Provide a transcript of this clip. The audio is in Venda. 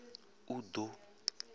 uḓo